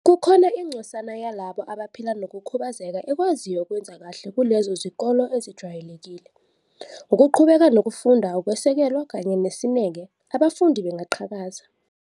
"Kukhona ingcosana yalabo abaphila nokukhubazeka ekwaziyo ukwenza kahle kulezo zikole ezijwayelekile. Ngokuqhubeka nokufunda, ukwesekelwa kanye nesineke, abafundi bengaqhakaza."